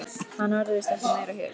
Hann verður víst ekki meira hér.